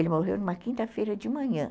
Ele morreu numa quinta-feira de manhã.